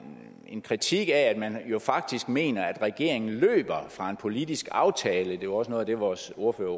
en kritik af at man jo faktisk mener at regeringen løber fra en politisk aftale elleve det var også noget af det vores ordfører